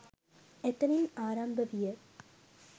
එතැනින් ආරම්භ විය.